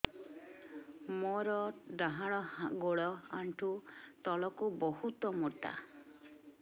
ମୋର ଡାହାଣ ଗୋଡ ଆଣ୍ଠୁ ତଳୁକୁ ବହୁତ ମୋଟା